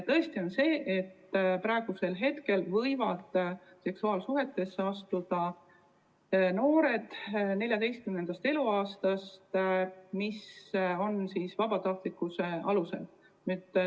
Tõesti, praegu on nii, et seksuaalsuhtesse võivad astuda noored alates 14. eluaastast vabatahtlikkuse alusel.